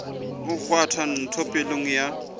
o kgwatha ntho pelong ya